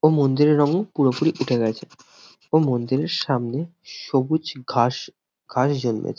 ও মন্দিরের রং পুরোপুরি উঠে গেছে ও মন্দিরের সামনে সবুজ ঘাস ঘাস জন্মেছ--